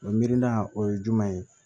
O mirina o ye jumɛn ye